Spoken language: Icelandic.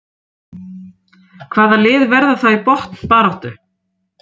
Hvaða lið verða þá í botnbaráttu?